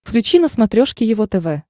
включи на смотрешке его тв